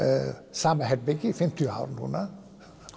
sama herbergi í fimmtíu ár núna